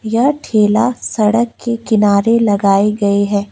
यह ठेला सड़क के किनारे लगाए गए है।